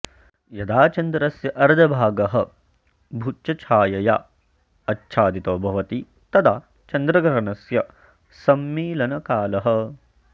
यदा चन्द्रस्य अर्धभागः भूच्छायया आच्छादितो भवति तदा चन्द्रग्रहणस्य सम्मीलनकालः